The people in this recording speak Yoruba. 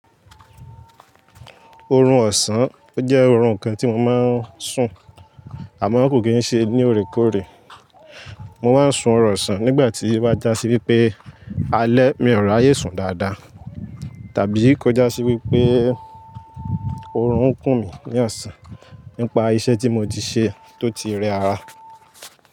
Orun ọ̀sán, ó jẹ́ orun kan tí mo máa ń sùn àmọ́ kò kí ń ṣe ní òrékòòré. Mo máa ń sun ọ̀run ọ̀sán nígbà tí ó bá já sí wípé alẹ́ mi ò ráyé sùn dáadáa. Tàbí kó já sí wípé orun ń kùn mí ní ọ̀sán nípa iṣẹ́ tí mo ti ṣe tó ti rẹ ara.